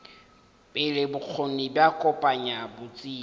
pele bokgoni bja kopanya botsebi